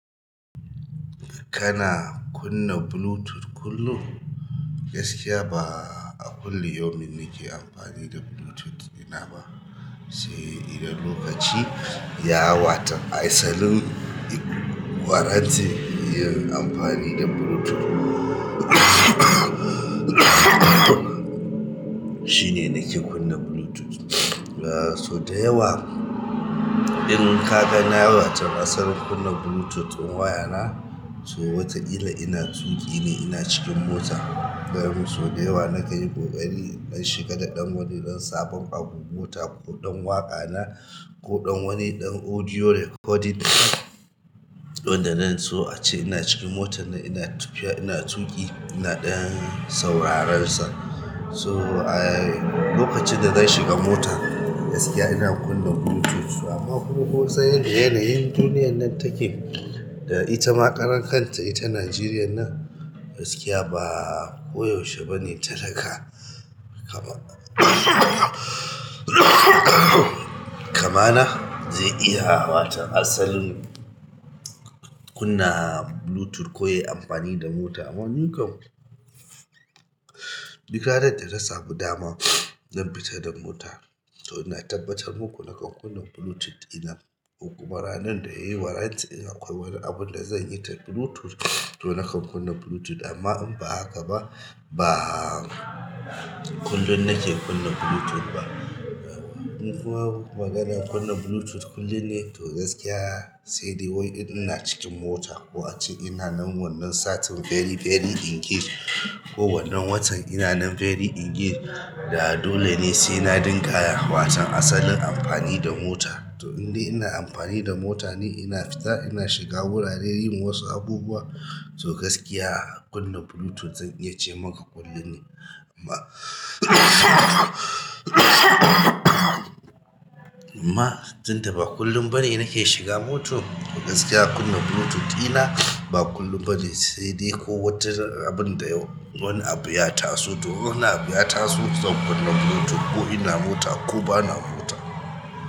Kana kunna Bluetooth kullum? Gaskiya ba a kullum yaumin nike amfani da Bluetooth ina ba, se idan lokaci ya wata asalin warranty yin amfani da Bluetooth shine nake kunna Bluetooth. So da yawa in ka ga na wata asalin kunna Bluetooth in wayana so wata ƙila ina tuƙi ne ina cikin mota. So da yawa nakan yi ƙoƙari in shiga da dan wajenjen saban abu mota ko dan waƙa na ko ɗan wani ɗan audio recording wanda nan so ace ina cikin motar ina tafiya, ina tuƙi ina ɗan sauraren sa. So a lokacin da na shiga motan gaskiya ina kunna Bluetooth amma kuma ko san yanda yanayin duniyar nan take da ita ma ƙaran kanta ita Najeriya nan. Gaskiya ba ko yaushe bane talaka, kamar kamana zai iya asalin kunna Bluetooth ko ya yi amfani da mota. Amma ni kam bikar da idan na samu dama zan fita da mota. To ina tabbatar maku da nakan kunna Bluetooth ɗina ko kuma ranan da yayi warranty in akwai wani abun da zan yi da Bluetooth to nakan kunna Bluetooth amma in ba haka ba, ba kullum nake kunna Bluetooth ba. In kuwa maganar kunna Bluetooth kullum ne to gaskiya sai dai wai idan ina cikin mota ko ace ina nan wannan satin very, very engage ko wannan watan ina nan very engage da dole ne sai na dinga wasan asalin amfani da mota. To in dai ina amfani da mota ne ina fita ina shiga wurare yin wasu abubuwa to gaskiya kunna Bluetooth zan iya ce maka kullum ne. Amma amma tunda ba kullum bane nake shiga mota to gaskiya kunna Bluetooth ɗina ba kullum bane sai dai ko wata abun da wani abu ya taso. To in wani abu ya taso zan kunna Bluetooth ko ina mota ko bana mota.